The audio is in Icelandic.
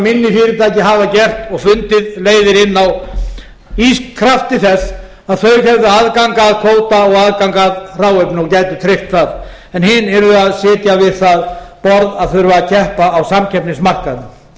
fyrirtæki hafa gert og fundið leiðir inn á í krafti þess að þau hefðu aðgang að kvóta og aðgang að hráefni og gætu tryggt það en hin yrðu að sitja við það borð að þurfa að keppa á samkeppnismarkaðnum það er